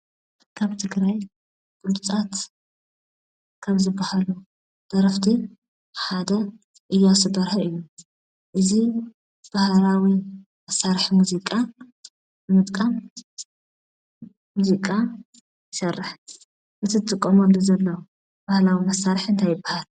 ካብ ትግራይ ብሉፃት ካብ ዝባሃሉ ደረፍቲ ሓደ እያሱ በርሀ እዩ፡፡ እዚ ባህላዊ መሳርሒ ሙዚቃ ብምጥቃም ሙዚቃ ይሰርሕ፡፡ እቲ ዝጥቀመሉ ዘሎ ባህላዊ መሳርሒ እንታይ ይባሃል?